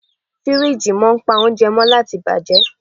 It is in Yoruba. Firiji máa ń pa oúnjẹ mó láti bàjẹ́.